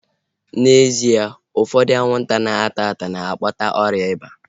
Eji m n'aka, na ụfọdụ anwụnta na-ata ata na-akpata ọrịa ịba